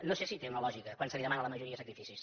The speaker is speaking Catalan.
no sé si té una lògica quan se li demanen a la majoria sacrificis